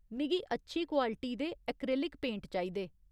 मिगी अच्छी क्वालिटी दे एक्रेलिक पेंट चाहिदे।